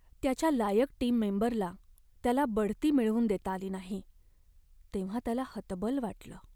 त्याच्या लायक टीम मेंबरला त्याला बढती मिळवून देता आली नाही तेव्हा त्याला हतबल वाटलं.